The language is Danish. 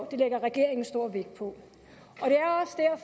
det lægger regeringen stor vægt på